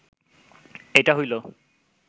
এইটা হইল